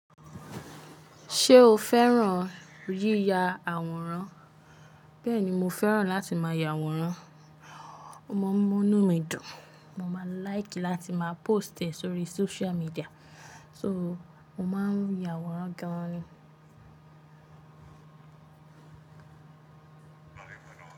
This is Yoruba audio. Ṣé o fẹ́ràn yíya àwòrán? Bẹ́ẹ̀ni, mo fẹ́ràn láti máa ya àwòrán. O maa n mọ̀núnmídùn, mo máa n like láti máa póst e sórí social media. So, mo máa ń ya àwòrán gan-an ni.